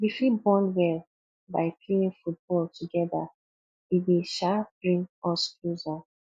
we fit bond well by playing football together e dey um bring us closer